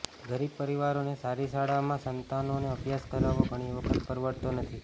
ગરીબ પરિવારો ને સારી શાળામાં સંતાનો ને અભ્યાસ કરાવવો ઘણી વખત પરવડતો નથી